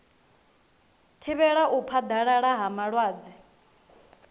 thivhela u phaḓalala ha malwadze